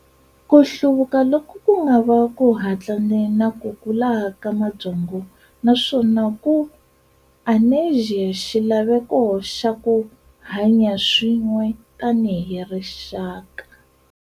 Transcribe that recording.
Kuhluvuka loku kungava ku hatlane na ku kula ka mabyongo naswona ku anerisa xilaveko xa kuhanya swin'we tani hi rixaka.